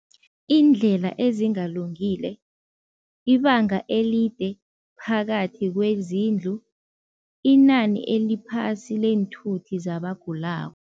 Iindlela ezingalungile, ibanga elide phakathi kwezindlu, inani eliphasi leenthuthi zabagulako.